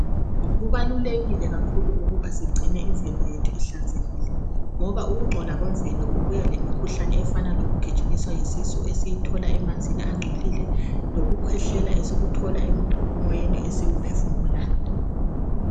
Kubalulekile kakhulu ukuba sigcine imizimba yethu ihlanzekile ngoba ukungcola kwemvelo kubuya lemikhuhlane efana yikugijinyiswa yisisu esiyithola emanzini angcolileyo lokukhwehlela esikuthola emoyeni esiwuphefumulayo.